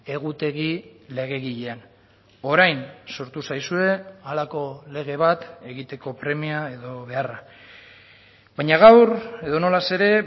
egutegi legegilean orain sortu zaizue halako lege bat egiteko premia edo beharra baina gaur edonola ere